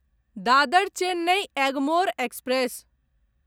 Dadar Chennai Egmore express